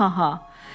Ha ha ha.